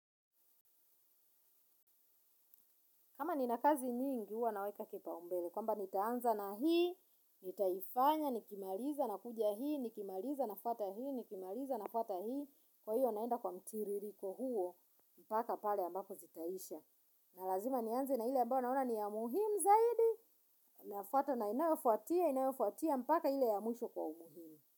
Kama nina kazi nyingi huwa naweka kipaumbele. Kwamba nitaanza na hii nitaifanya nikimaliza na kuja hii nikimaliza na fuata hii nikimaliza na fata hii. Kwa hiyo naenda kwa mtiririko huo mpaka pale mbapo zitaisha. Na lazima nianze na ile ambayo naona ni ya muhimu zaidi nafuatwa na inayofuatia inayofuatia mpaka ile ya mwisho kwa umuhimu.